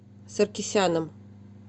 саркисяном